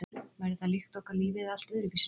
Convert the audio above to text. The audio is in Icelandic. Væri það líf líkt okkar lífi eða allt öðruvísi líf?